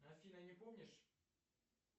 афина не помнишь